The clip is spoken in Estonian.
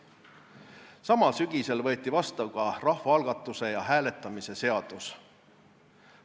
Samal sügisel võeti vastu ka rahvaalgatuse ja -hääletamise seadus.